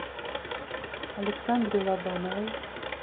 александре лобановой